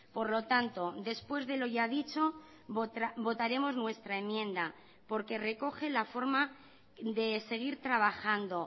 por lo tanto después de lo ya dicho votaremos nuestra enmienda porque recoge la forma de seguir trabajando